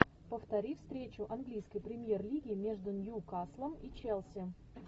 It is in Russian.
повтори встречу английской премьер лиги между ньюкаслом и челси